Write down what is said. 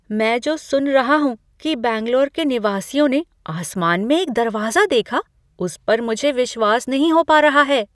मैं जो सुन रहा हूँ कि बैंगलोर के निवासियों ने आसमान में एक दरवाजा देखा, उस पर मुझे विश्वास नहीं हो पा रहा है।